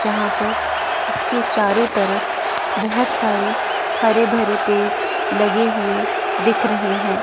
जहां पर उसके चारों तरफ बहोत सारे हरे भरे पेड़ लगे हुए दिख रहे है।